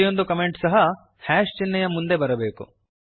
ಪ್ರತಿಯೊಂದು ಕಮೆಂಟೂ ಸಹ ಚಿಹ್ನೆಯ ಮುಂದೆ ಬರಬೇಕು